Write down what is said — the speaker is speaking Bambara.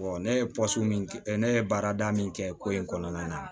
ne ye min kɛ ne ye baarada min kɛ ko in kɔnɔna na